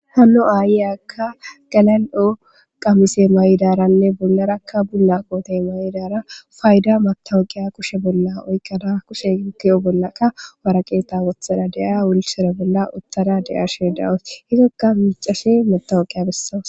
Hanno aayiyakka galal'o qamise may'daranne bunlarakka bulla qootey maydara fayda matawoqiya kushe bolla oykkana kushe tiyo bollaka waraqeeta wothara de7aya wulshera bolla uttada de7arshe dawus hizokka micashe metawoqiya bessawos.